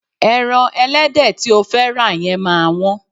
Ẹran ẹlẹ́dẹ̀ tí o fẹ́ rà yẹn máa wọ́n.